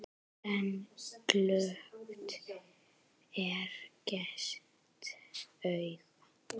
En glöggt er gests augað.